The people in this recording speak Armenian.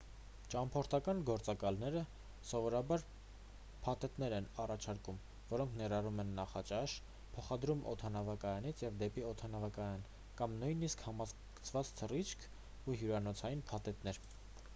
ճամփորդական գործակալները սովորաբար փաթեթներ են առաջարկում որոնք ներառում են նախաճաշ փոխադրում օդանավակայանից և դեպի օդանավակայան կամ նույնիսկ համակցված թռիչք ու հյուրանոցային փաթեթներ